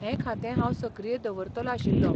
हें खातें हांव सक्रिय दवरतलो आशिल्लो.